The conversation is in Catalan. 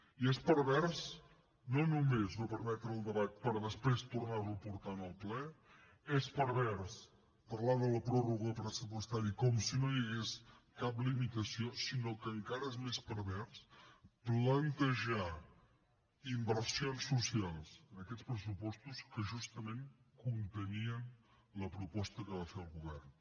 i és pervers no només no permetre el debat per després tornar lo a portar en el ple és pervers no només parlar de la pròrroga pressupostària com si no hi hagués cap limitació sinó que encara és més pervers plantejar inversions socials en aquests pressupostos que justament contenia la proposta que va fer el govern